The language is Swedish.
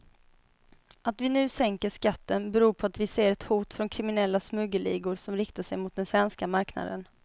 Att vi nu sänker skatten beror på att vi ser ett hot från kriminella smuggelligor som riktar sig mot den svenska marknaden.